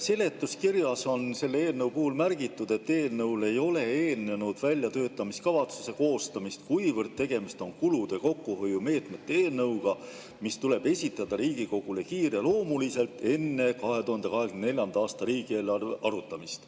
Seletuskirjas on selle eelnõu puhul märgitud: "Eelnõule ei ole eelnenud väljatöötamiskavatsuse koostamist, kuivõrd tegemist on kulude kokkuhoiu meetmete eelnõuga, mis tuleb esitada Riigikogule kiireloomuliselt, enne 2024. aasta riigieelarve arutamist.